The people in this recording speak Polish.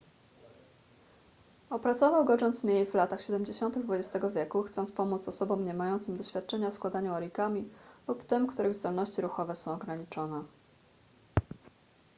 opracował go john smith w latach siedemdziesiątych xx wieku chcąc pomóc osobom niemającym doświadczenia w składaniu origami lub tym których zdolności ruchowe są ograniczone